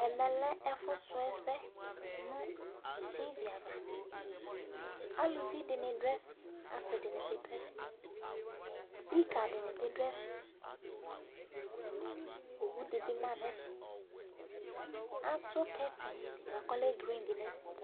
Ɛmɛ lɛ ɛfufusu ɛsɛ nu tʋ ava aluvidíni du eƒe asidini biduɛfɛ ikadini nu du eƒe speaker dibi bidu ɛfɛ owu dibi ma du ɛfɛ